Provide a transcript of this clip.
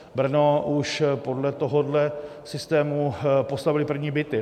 Brno už podle tohoto systému postavilo první byty.